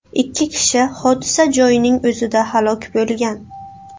Ikki kishi hodisa joyining o‘zida halok bo‘lgan.